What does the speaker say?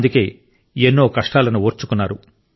అందుకే ఎన్నో కష్టాలను ఓర్చుకున్నారు